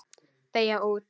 Deyja út.